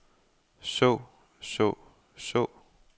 så så så